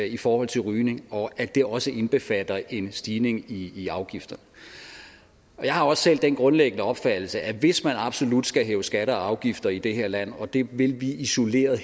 i forhold til rygning og at det også indbefatter en stigning i i afgifter og jeg har også selv den grundlæggende opfattelse at hvis man absolut skal hæve skatter og afgifter i det her land og det vil vi isoleret